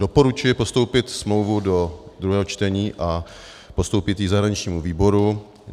Doporučuji postoupit smlouvu do druhého čtení a postoupit ji zahraničnímu výboru.